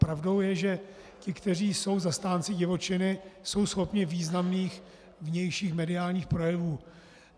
Pravdou je, že ti, kteří jsou zastánci divočiny, jsou schopni významných vnějších mediálních projevů.